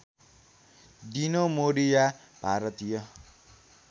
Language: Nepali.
डिनो मोरिया भारतीय